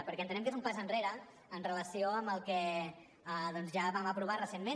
perquè entenem que és un pas enrere amb relació al que ja vam aprovar recentment